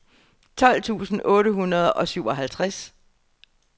tolv tusind otte hundrede og syvoghalvtreds